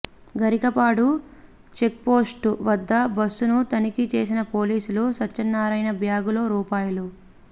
Garikapadu checkpost వద్ద బస్సును తనిఖీ చేసిన పోలీసులు సత్యనారాయణ బ్యాగులో రూ